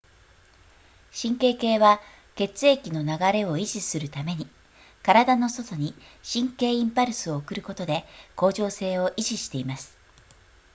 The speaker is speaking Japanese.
神経系は血液の流れを維持するために体の外に神経インパルスを送ることで恒常性を維持しています